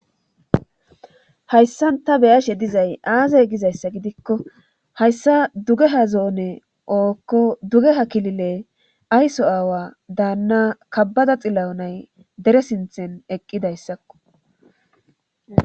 Hayssa ta beyashe dizay aaze gizayssa gidikko hayssa duge ha zoone ookko duge ha kilile ayso aawa daanna kabbada xila7onay dere sinthen eqqidayssakko.